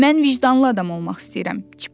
Mən vicdanlı adam olmaq istəyirəm.